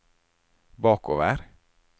bakover